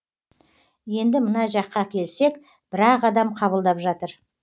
енді мына жаққа келсек бір ақ адам қабылдап жатыр